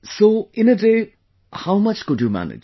So, in a day, how much could you manage